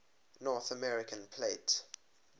north american plate